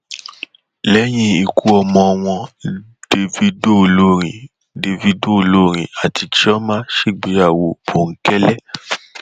lẹyìn ikú ọmọ wọn davido olórin davido olórin àti chioma ṣègbéyàwó bòńkẹlẹ